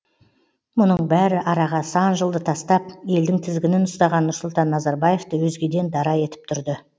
мұның бәрі араға сан жылды тастап елдің тізгінін ұстаған нұрсұлтан назарбаевты өзгеден дара етіп тұрды